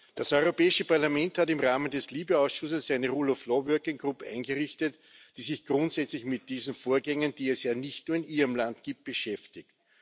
Das Europäische Parlament hat im Rahmen des LIBE-Ausschusses eine rule of law working group eingerichtet, die sich grundsätzlich mit diesen Vorgängen, die es ja nicht nur in Ihrem Land gibt, beschäftigt.